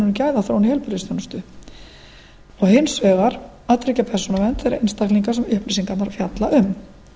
um gæðaþróun í heilbrigðisþjónustu og hins vegar að tryggja persónuvernd þeirra einstaklinga sem upplýsingarnar fjalla um